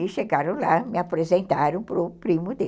E chegaram lá, me apresentaram para o primo dele.